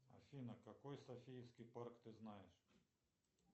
афина какой софийский парк ты знаешь